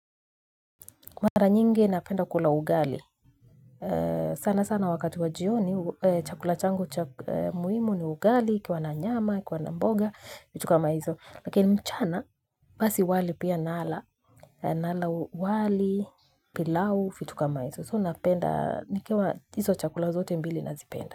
Kwa mara nyingi napenda kula ugali sana sana wakati wajioni chakula changu muhimu ni ugali, ukiwa na nyama, ukiwa na mboga vitu kama hizo lakini mchana, basi wali pia nala nala wali pilau, vitu kama hizo so napenda, nikiwa hizo chakula zote mbili nazipenda.